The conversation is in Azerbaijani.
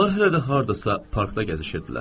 Onlar hələ də hardasa parkda gəzişirdilər.